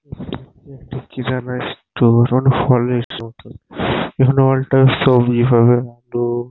এখানে একটা কি যেন একটা ফলের মত এখানে অল টাইম সবজি পাবে আলু--